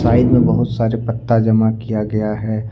Side में बहुत सारे पत्ता जमा किया गया है।